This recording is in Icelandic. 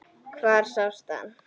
Hvar sástu hann?